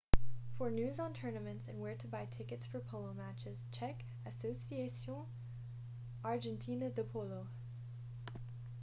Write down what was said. for news on tournaments and where to buy tickets for polo matches check asociacion argentina de polo